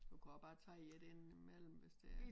Du kan godt bare tage en inde imellem hvis det er